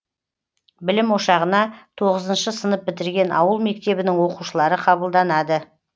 білім ошағына тоғызыншы сынып бітірген ауыл мектебінің оқушылары қабылданады